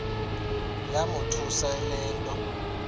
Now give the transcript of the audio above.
yamothusa le nto